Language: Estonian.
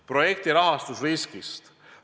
Projekti rahastamise riskist.